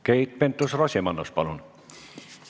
Keit Pentus-Rosimannus, palun!